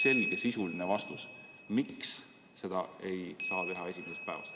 Andke meile sisuline vastus, miks seda ei saa teha esimesest päevast.